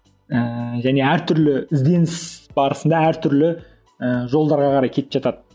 ііі және әртүрлі ізденіс барысында әртүрлі ііі жолдарға қарай кетіп жатады